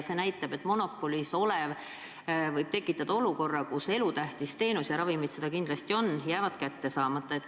Me nägime, et monopolina tegutsev ettevõte võib tekitada olukorra, kus elutähtis teenus – ja ravimid seda kindlasti on – jääb kätte saamata.